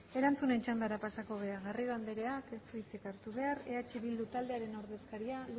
ez dago hitzik erantzunen txandara pasatuz garrido andereak ez du hitzik hartu behar eh bildu taldearen ordezkaria